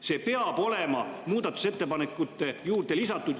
See peab olema muudatusettepanekute juurde lisatud.